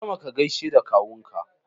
Hau sama ka gaishe da Kawunka